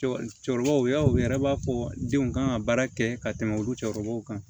Cɛkɔrɔbaw y'a ye u yɛrɛ b'a fɔ denw kan ka baara kɛ ka tɛmɛ olu cɛkɔrɔbaw kan